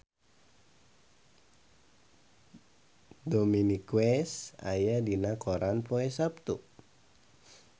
Dominic West aya dina koran poe Saptu